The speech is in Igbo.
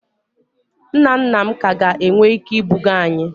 Nna nna m ka ga-enwe ike ibuga anyi